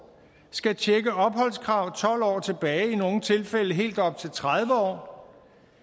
skal tjekke opholdskrav tolv år tilbage i nogle tilfælde helt op til tredive år